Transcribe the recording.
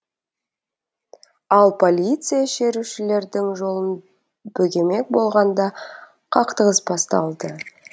ал полиция шерушілердің жолын бөгемек болғанда қақтығыс басталды